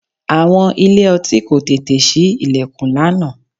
Àwọn ilé-ọtí kò tètè sí ìlẹ̀kùn lánàá